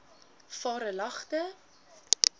varelagte